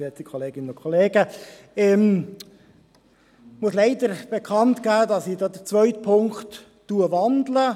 Ich muss leider bekannt geben, dass ich den zweiten Punkt wandle.